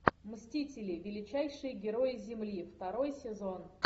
мстители величайшие герои земли второй сезон